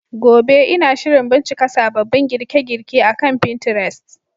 Gobe, Ina shirin bincika sababbin girke-girke akan Pinterest.